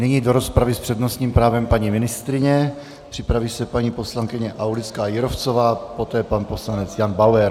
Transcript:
Nyní do rozpravy s přednostním právem paní ministryně, připraví se paní poslankyně Aulická Jírovcová, poté pan poslanec Jan Bauer.